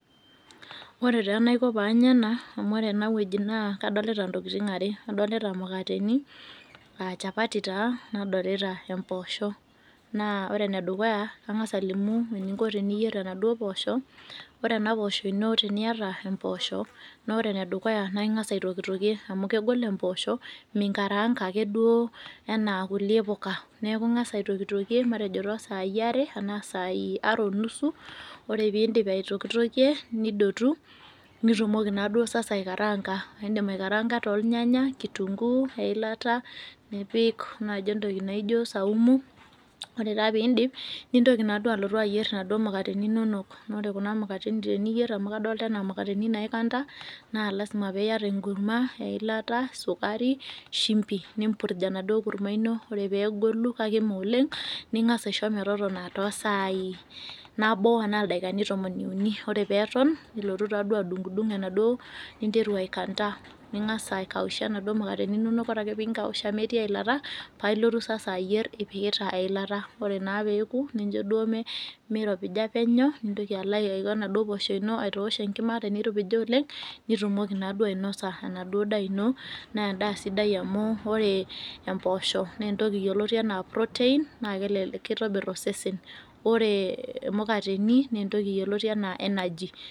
Ore ta enaiko panya enawueji na kadolita ntokitin are adolita mukateni aa nchapati nadolta mpoosho ore enedukuya kangasa alimu eninko teniyier kunapoosho ore enapoosho ino teniata empoosho enedukuya na ingasa ayier mpoosho minkarangaduo ana kulie puka neakubingasa aitokitokie matejo tosai are ashu sai are onusu ore peindip aitokitokie nidotu nitumoki naaduo sasa aikarangaa, indim aikaranga tolnyanya kitunguu, eilata nipik naijo entoki naijo peindip nintoki alotu ayier naduo mukateni inonok teniyer amu kadolta ana mukateni inonok na lasima peiata enkurmazsukari, shumbi nimpiurj enaduo kurma ino aisho metotona tosai nabo anaa dakina tomon uni ningasa aikanda ninkausha naduo maukateni inono ore peoku nincho duo mitopiha penyo nilo aitoosh impoosho enkima nirumokibainosa enaduo daa ino na kitobir osesen ore menikateni na energy